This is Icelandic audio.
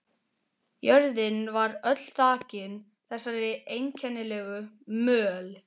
Jörðin var öll þakin þessari einkennilegu möl.